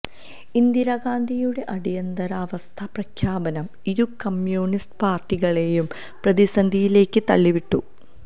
ഇന്ദിരാഗാന്ധിയുടെ അടിയന്തരാവസ്ഥാ പ്രഖ്യാപനം ഇരു കമ്യൂണിസ്റ്റ് പാര്ട്ടികളെയും പ്രതിസന്ധിയിലേക്ക് തള്ളിവിട്ടു